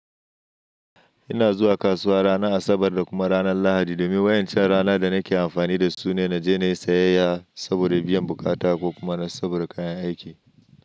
Ina zuwa kasuwa ranar Asabar da kuma ranar Lahadi domin waɗancan rana da nake amfani da su ne na je na yi sayayya saboda biyan bukata ko kuma saboda kayan aiki.